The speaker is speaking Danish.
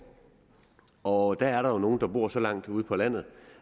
og der er jo nogle der bor så langt ude på landet